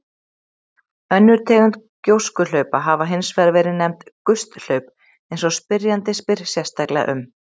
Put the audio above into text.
Önnur tegund gjóskuhlaupa hafa hins vegar verið nefnd gusthlaup eins og spyrjandi spyr sérstaklega um.